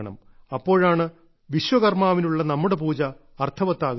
അപ്പോഴാണ് വിശ്വകർമ്മാവിനുള്ള നമ്മുടെ പൂജ അർത്ഥവത്താകുന്നത്